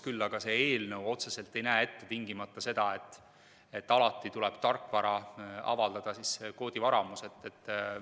Küll aga ei näe see eelnõu otseselt ette seda, et alati tuleb tarkvara avaldada tingimata koodivaramus.